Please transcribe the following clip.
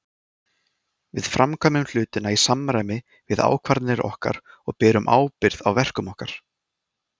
Við framkvæmum hlutina í samræmi við ákvarðanir okkar og berum ábyrgð á verkum okkar.